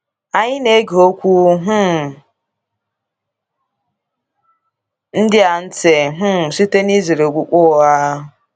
Anyị na-ege okwu um ndị a ntị um site n’izere okpukpe ụgha.